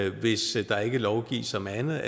at vi hvis der ikke lovgives om andet